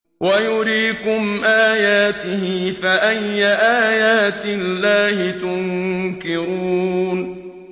وَيُرِيكُمْ آيَاتِهِ فَأَيَّ آيَاتِ اللَّهِ تُنكِرُونَ